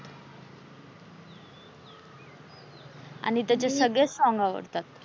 आणि त्याचे सगळेस song आवडतात.